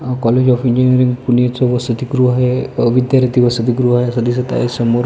A college of engineering पुणेच वसतिगृह अ विद्यार्थी वसतिगृह आहे असे दिसत आहे समोर.